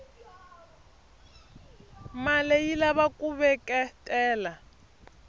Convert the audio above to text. male yilava kuveketela